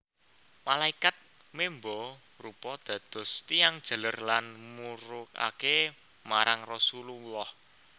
Malaikat memba rupa dados tiyang jaler lan murukaké marang Rasululllah